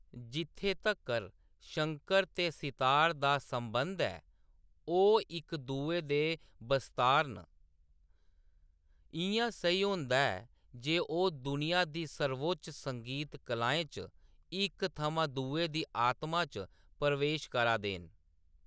जित्थै तक्कर ​​शंकर ते सितार दा संबन्ध ऐ, ओह्‌‌ इक दुए दे बस्तार न, इ`यां सेही होंदा ऐ जे ओह्‌‌ दुनिया दी सर्वोच्च संगीत कलाएं च इक थमां दुए दी आत्मा च प्रवेश करा दे न।